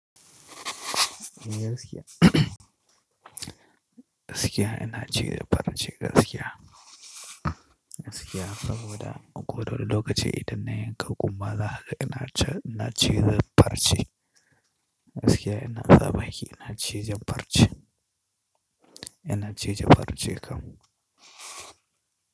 Gaskiya, gaskiya ina cire farce gaskiya. Gaskiya saboda a koda wali lokaci idan na yanka kumba za haka ina cizan farce. Gaskiya ina sa baki ina cizan farce. Ina cije farce kam.